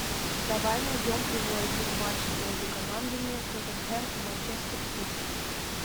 давай найдем прямой эфир матча между командами тоттенхэм и манчестер сити